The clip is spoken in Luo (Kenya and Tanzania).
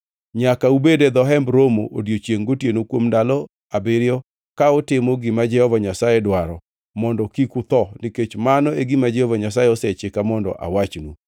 Nyaka ubedi e dho Hemb Romo odiechiengʼ gotieno kuom ndalo abiriyo ka utimo gima Jehova Nyasaye dwaro, mondo kik utho nikech mano e gima Jehova Nyasaye osechika mondo awachnu.”